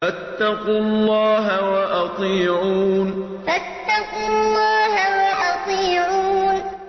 فَاتَّقُوا اللَّهَ وَأَطِيعُونِ فَاتَّقُوا اللَّهَ وَأَطِيعُونِ